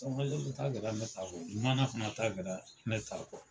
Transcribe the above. ta kɛra ne ta kɔ fana ta kɛra ne ta kɔ.